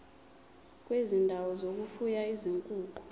kwezindawo zokufuya izinkukhu